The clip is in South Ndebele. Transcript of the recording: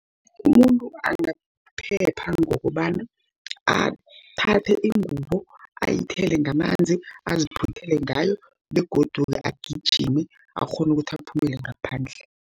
Umuntu angaphepha ngokobana, aphathe ingubo ayithele ngamanzi, aziphuthele ngayo begodu agijime akghone ukuthi aphumele ngaphandle.